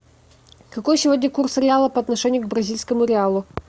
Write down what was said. какой сегодня курс реала по отношению к бразильскому реалу